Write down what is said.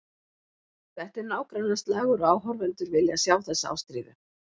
Þetta er nágrannaslagur og áhorfendur vilja sjá þessa ástríðu.